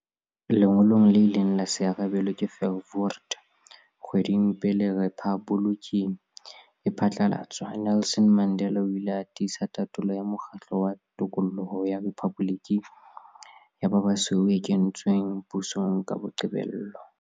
Lengolong le ileng la se arabelwe ke Verwoerd kgwedi pele rephaboliki e phatlalatswa, Nelson Mandela o ile a tiisa tatolo ya mokgatlo wa tokoloho ya rephaboliki ya ba basweu e kentsweng pusong ka qobello.